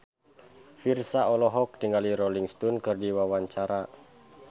Virzha olohok ningali Rolling Stone keur diwawancara